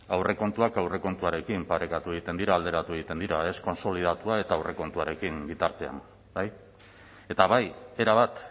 aurrekontuak aurrekontuarekin parekatu egiten dira alderatu egiten dira ez kontsolidatua eta aurrekontuarekin bitartean bai eta bai erabat